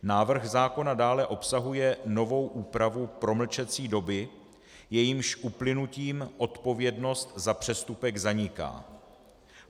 Návrh zákona dále obsahuje novou úpravu promlčecí doby, jejímž uplynutím odpovědnost za přestupek zaniká.